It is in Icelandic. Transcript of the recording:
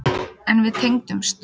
En við tengdumst.